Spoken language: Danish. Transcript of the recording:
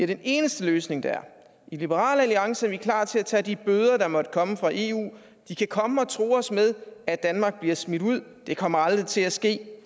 den eneste løsning der er i liberal alliance er vi klar til at tage de bøder der måtte komme fra eu de kan komme og true os med at danmark bliver smidt ud det kommer aldrig til at ske